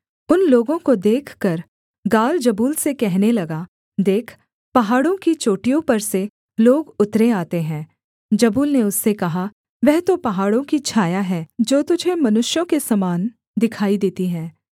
उन लोगों को देखकर गाल जबूल से कहने लगा देख पहाड़ों की चोटियों पर से लोग उतरे आते हैं जबूल ने उससे कहा वह तो पहाड़ों की छाया है जो तुझे मनुष्यों के समान दिखाई देती है